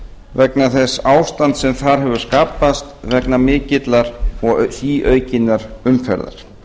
vegna þess ástands sem þar hefur skapast vegna mikillar og síaukinnar umferðar